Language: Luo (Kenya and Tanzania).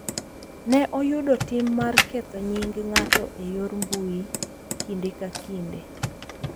Ne oyudo tim mar ketho nying’ ng’ato e yor mbui kinde ka kinde.